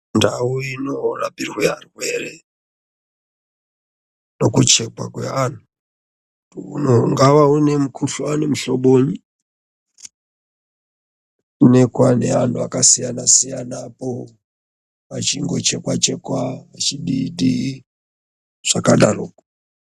Ndau inorapirwe arwere nekuchekwa kweanhu kuti ungave unemukuhlani muhlobonyi onekwa neanhu akasiyana-siyana apo achingochekwa-chekwa achidii-dii, zvakadaroko.